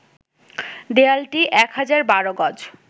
দেয়ালটি ১,০১২ গজ